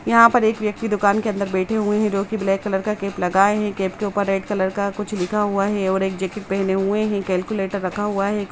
यहाँ पर एक व्यक्ति दुकान के अंदर बैठे हुए है जो कि ब्लैक कलर का कैप लगाए है कैप के ऊपर रेड कलर का कुछ लिखा हुआ है और एक जैकेट पेहने हुए है कैलकुलेटर रखा हुआ है।